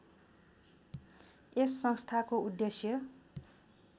यस संस्थाको उद्देश्य